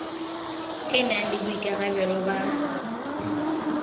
e na le boikarabelo ba